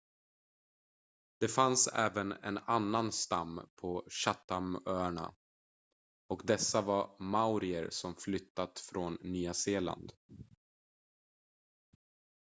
det fanns även en annan stam på chathamöarna och dessa var maorier som flyttat från nya zeeland